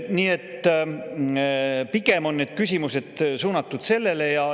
Nii et pigem on need küsimused suunatud sellele.